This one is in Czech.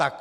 Tak.